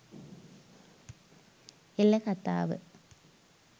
එළ කථාව